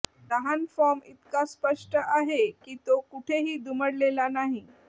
लहान फॉर्म इतका स्पष्ट आहे की तो कुठेही दुमडलेला नाही